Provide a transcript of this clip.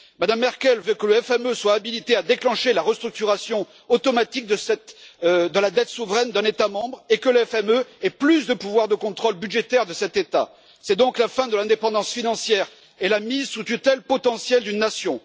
Mme Merkel veut que le FME soit habilité à déclencher la restructuration automatique de la dette souveraine d'un État membre et que le FME ait plus de pouvoir de contrôle budgétaire de cet État. C'est donc la fin de l'indépendance financière et la mise sous tutelle potentielle d'une nation.